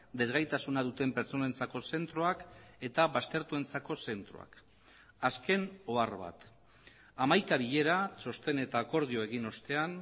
desgaitasuna duten pertsonentzako zentroak eta baztertuentzako zentroak azken ohar bat hamaika bilera txosten eta akordio egin ostean